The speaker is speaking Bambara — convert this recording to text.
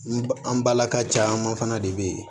N ba an balaka caman fana de bɛ yen